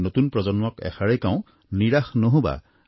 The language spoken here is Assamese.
নতুন প্ৰজন্মক এষাৰেই কওঁ নিৰাশ নহবা